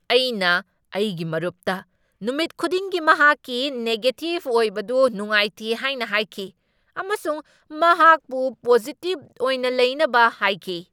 ꯑꯩꯅ ꯑꯩꯒꯤ ꯃꯔꯨꯞꯇ ꯅꯨꯃꯤꯠ ꯈꯨꯗꯤꯡꯒꯤ ꯃꯍꯥꯛꯀꯤ ꯅꯦꯒꯦꯇꯤꯕ ꯑꯣꯏꯕꯗꯨ ꯅꯨꯡꯉꯥꯏꯇꯦ ꯍꯥꯏꯅ ꯍꯥꯏꯈꯤ ꯑꯃꯁꯨꯡ ꯃꯍꯥꯛꯄꯨ ꯄꯣꯖꯤꯇꯤꯕ ꯑꯣꯏꯅ ꯂꯩꯅꯕ ꯍꯥꯏꯈꯤ꯫